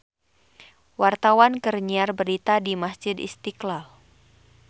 Wartawan keur nyiar berita di Masjid Istiqlal